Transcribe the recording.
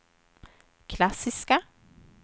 klassiska